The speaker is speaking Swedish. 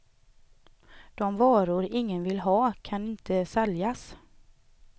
De varor ingen vill ha kan inte säljas.